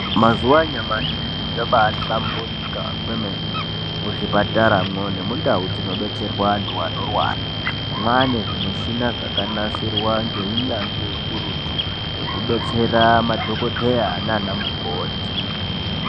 Mazuva anyamashi zviro zvabai hlamburika kwemene mu zvipatara mwo ne mundau dzino detserwa antu anorwara mane zvi mushina zvaka nasirwa nge unyanzvi ukurutu zveku betsera madhokodheya nana mukoti.